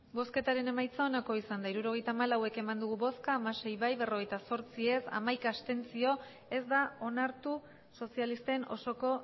hirurogeita hamalau eman dugu bozka hamasei bai berrogeita zortzi ez hamaika abstentzio ez da onartu sozialisten osoko